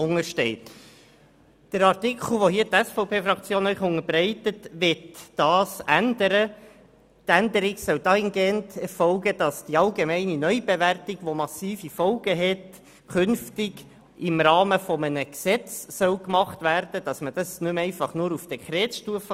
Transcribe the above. Unser Antrag wird das dahingehend ändern, dass die allgemeine Neubewertung, welche massive Folgen hat, künftig im Rahmen eines Gesetzes festgelegt werden soll und nicht mehr nur auf Dekretstufe.